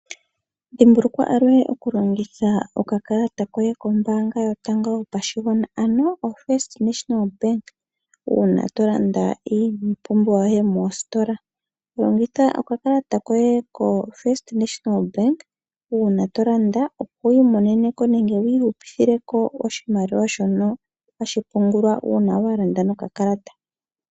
Dhimbulukwa aluhe okulongitha okakalata koye kombaanga yotango yopashigwana, ano oFirst National Bank uuna to landa iipumbiwa yoye mositola. Longitha okakalata koye koFirst National Bank uuna to landa, opo wi imonene ko nenge ihupithile ko oshimaliwa shono hashi pungulwa uuna wa landa nokakalata.